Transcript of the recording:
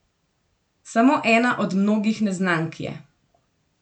Samo ena od mnogih neznank je.